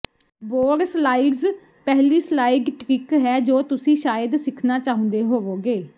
boardslides ਪਹਿਲੀ slide trick ਹੈ ਜੋ ਤੁਸੀਂ ਸ਼ਾਇਦ ਸਿੱਖਣਾ ਚਾਹੁੰਦੇ ਹੋਵੋਗੇ